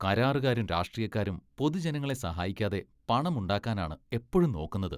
കരാറുകാരും രാഷ്ട്രീയക്കാരും പൊതുജനങ്ങളെ സഹായിക്കാതെ പണമുണ്ടാക്കാനാണ് എപ്പഴും നോക്കുന്നത്.